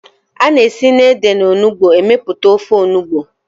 Ana esi na ede na onugbu emeputa ofe onugbu